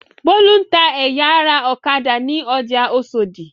Bólú ń ẹ̀ya ara ọ̀kadà ní ọjà Oṣòdì.